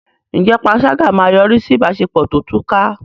Ǹjẹ́ panṣágà máa yọrí sí ìbáṣepọ̀ tó túká?